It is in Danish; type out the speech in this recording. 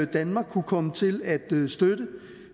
danmark kunne komme til at støtte